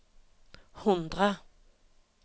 hundre